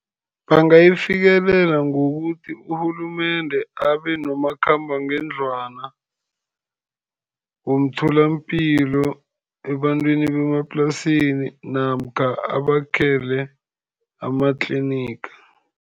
Bangayifikelela ngokuthi urhulumende abe nomakhambangendlwana womtholapilo ebantwini bemaplasini, namkha abakhele amatliniga.